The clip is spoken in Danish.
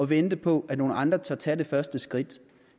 vente på at nogle andre tør tage det første skridt